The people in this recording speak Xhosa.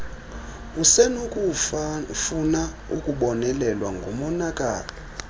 usenokufuna ukubonelelwa ngomonakalo